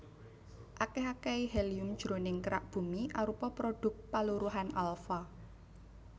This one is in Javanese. Akèh akèhé helium jroning kerak Bumi arupa prodhuk paluruhan alfa